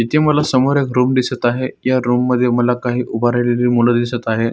इथे मला समोर एक रुम दिसत आहेत या रुम मध्ये मला काही उभा राहिलेली मुल दिसत आहेत.